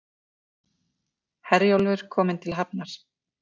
Herjólfur kominn til hafnar